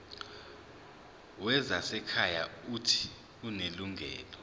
wezasekhaya uuthi unelungelo